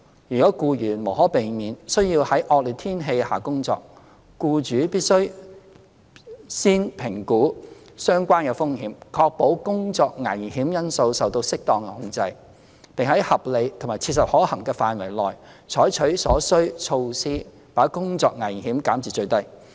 如僱員無可避免須要在惡劣天氣下工作，僱主必須預先評估相關風險，確保工作危險因素受到適當的控制，並在合理及切實可行範圍內採取所需措施把工作危險減至最低。